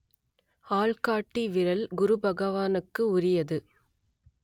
ஆள் காட்டி விரல் குரு பகவானுக்கு உரியது